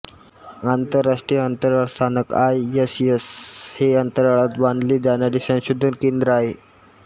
आंतरराष्ट्रीय अंतराळ स्थानक आयएसएस हे अंतराळात बांधले जाणारे संशोधन केंद्र आहे